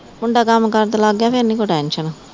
ਮੁੰਡਾ ਕੰਮ ਕਾਰ ਤੇ ਲੱਗ ਗਿਆ ਫਿਰ ਨੀ ਕੋਈ ਟੈਨਸ਼ਨ